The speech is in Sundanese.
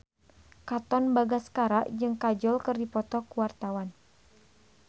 Katon Bagaskara jeung Kajol keur dipoto ku wartawan